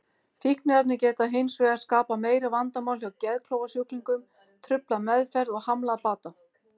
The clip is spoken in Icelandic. Fíkniefni geta hins vegar skapað meiri vandamál hjá geðklofasjúklingum, truflað meðferð og hamlað bata.